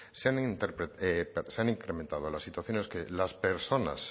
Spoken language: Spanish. se han incrementado las situaciones que las personas